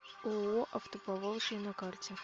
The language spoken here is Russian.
ооо автоповолжье на карте